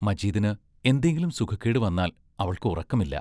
മജീദിന് എന്തെങ്കിലും സുഖക്കേട് വന്നാൽ അവൾക്ക് ഉറക്കമില്ല.